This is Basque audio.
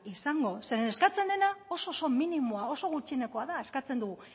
izango zeren eskatzen dena oso oso minimoa oso gutxienekoa da eskatzen dugu